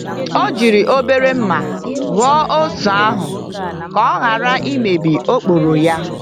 O jiri obere mma ghọọ oso ahụ ka o ghara imebi okporo ya.